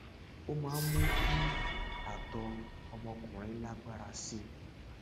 ó máa ń mú kí àtọ ọmọkùnrin lágbára sí i